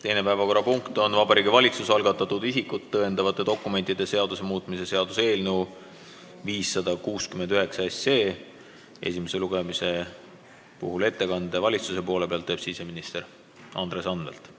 Teine päevakorrapunkt on Vabariigi Valitsuse algatatud isikut tõendavate dokumentide seaduse muutmise seaduse eelnõu 569 esimene lugemine, mispuhul teeb valitsuse nimel ettekande siseminister Andres Anvelt.